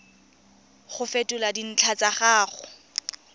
go fetola dintlha tsa gago